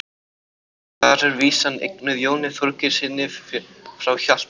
þar er vísan eignuð jóni þorgeirssyni frá hjaltabakka